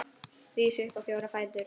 Rís upp á fjóra fætur.